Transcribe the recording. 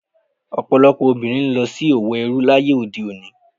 Ọ̀pọ̀lọpọ̀ obìnrin ń lọ sí òwò ẹrú láyé òde òní.